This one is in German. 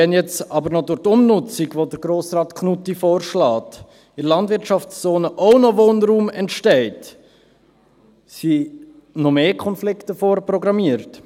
Wenn jetzt aber noch durch die Umnutzung, die Grossrat Knutti vorschlägt, in der Landwirtschaftszone auch noch Wohnraum entsteht, sind noch mehr Konflikte vorprogrammiert.